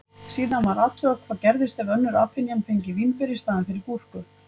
Síðan var athugað hvað gerðist ef önnur apynjan fengi vínber í staðinn fyrir gúrku.